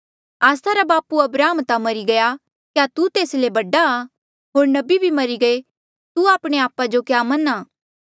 आस्सा रा बापू अब्राहम ता मरी गया क्या तू तेस ले बडा आ होर नबी भी मरी गये तू आपणे आपा जो क्या मन्हां